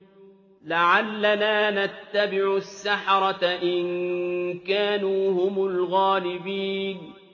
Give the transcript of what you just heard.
لَعَلَّنَا نَتَّبِعُ السَّحَرَةَ إِن كَانُوا هُمُ الْغَالِبِينَ